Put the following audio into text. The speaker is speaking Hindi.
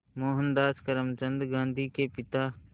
मोहनदास करमचंद गांधी के पिता